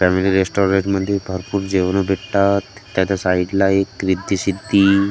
family restaurant मध्ये भरपूर जेवण भेटतात त्याच्या साईडला एक रिद्धी सिद्धी--